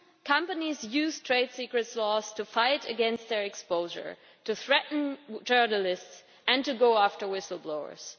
companies used trade secrets laws to fight against their exposure, threaten journalists and go after whistle blowers.